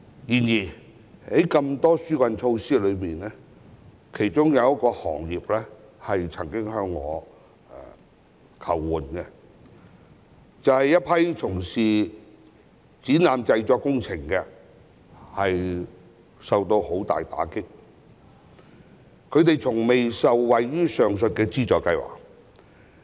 然而，縱有眾多紓困措施，有一個受影響的行業曾向我求助，就是一群從事展覽製作工程業的人士，他們受到重大打擊，但從未受惠於上述的資助計劃。